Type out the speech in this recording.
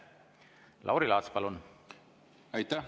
Lauri Laats, palun!